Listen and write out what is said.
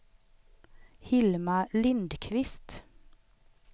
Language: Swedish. Hilma Lindqvist